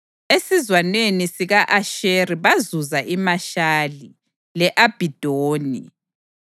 esizwaneni sika-Asheri bazuza iMashali, le-Abhidoni,